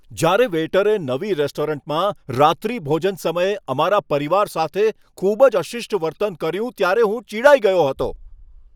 જ્યારે વેઈટરે નવી રેસ્ટોરન્ટમાં રાત્રિભોજન સમયે અમારા પરિવાર સાથે ખૂબ જ અશિષ્ટ વર્તન કર્યું ત્યારે હું ચિડાઈ ગયો હતો.